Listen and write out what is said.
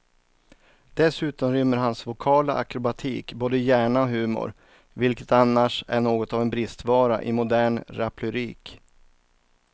Dessutom rymmer hans vokala akrobatik både hjärna och humor, vilket annars är något av en bristvara i modern raplyrik.